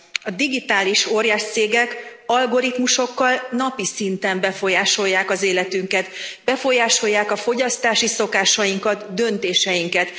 A digitális óriáscégek algoritmusokkal napi szinten befolyásolják az életünket, befolyásolják a fogyasztási szokásainkat, döntéseinket.